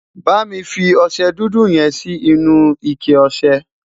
bámi fí ọsẹ dúdú yen Si inú ike ọsẹ